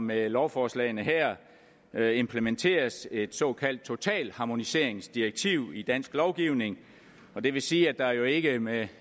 med lovforslagene her implementeres et såkaldt totalharmoniseringsdirektiv i dansk lovgivning og det vil sige at der jo ikke med